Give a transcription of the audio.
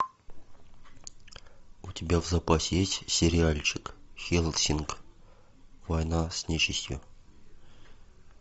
у тебя в запасе есть сериальчик хеллсинг война с нечистью